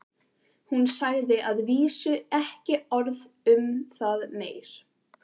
Hún sagði að vísu ekki orð um það meir.